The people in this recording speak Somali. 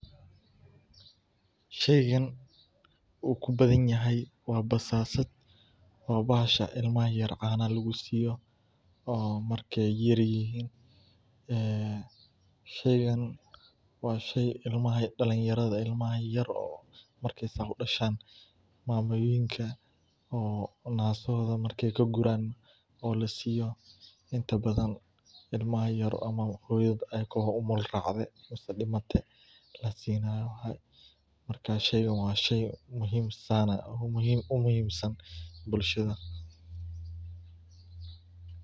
Sheygan uu kubadan yahay, waa bahashan ilmaha yar cana lagu siiyo, oo la siiyo, inta badan ilmaha yar oo hooyada kadimate.